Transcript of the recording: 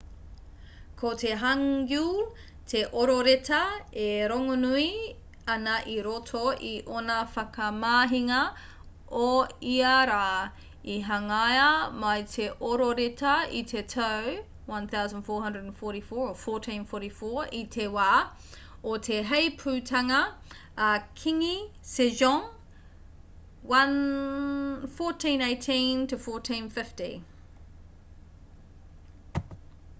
ko te hangeul te ororeta e rongonui ana i roto i ōna whakamahinga o ia rā. i hangaia mai te ororeta i te tau 1444 i te wā o te heipūtanga a kīngi sejong 1418-1450